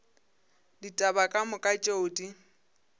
ditaba ka moka tšeo di